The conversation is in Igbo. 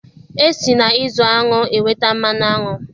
E si na-ịzụ aṅụ enweta mmanụ aṅụ